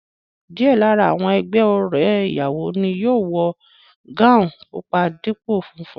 Díẹ̀ lára àwọn ẹgbẹ́ ọ̀rẹ́ ìyàwó ni yóò wọ gáùùn pupa dípò funfun